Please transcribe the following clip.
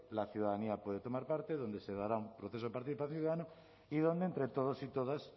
la ciudadanía puede tomar parte donde se dará un proceso de participación ciudadana y donde entre todos y todas